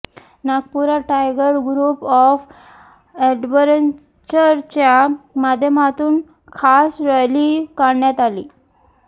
नागपुरात tiger group of अॅडवेंचरच्या माध्यमातून खास रॅली काढण्यात आली